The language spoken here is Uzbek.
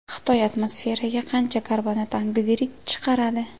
Xitoy atmosferaga qancha karbonat angidrid chiqaradi?